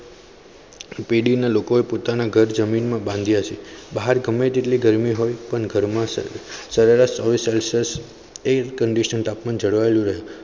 પીડી ના લોકોએ પોતાના ઘર જમીન બાંધ્યા બહાર ગમે તેટલી ગરમી હોય પણ ઘરમાં સરેરાશચોવીસ celcius conditional એક તાપમાન જળવાયેલું રહે